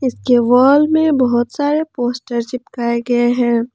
के वॉल में बहोत सारे पोस्टर चिपकाए गए हैं।